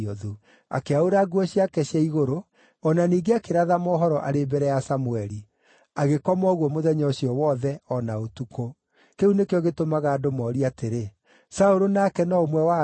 Akĩaũra nguo ciake cia igũrũ, o na ningĩ akĩratha mohoro arĩ mbere ya Samũeli. Agĩkoma ũguo mũthenya ũcio wothe, o na ũtukũ. Kĩu nĩkĩo gĩtũmaga andũ moorie atĩrĩ, “Saũlũ nake no ũmwe wa anabii?”